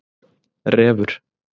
Refur